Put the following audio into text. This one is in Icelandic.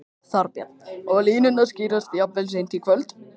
Þorbjörn: Og línurnar skýrast jafnvel seint í kvöld?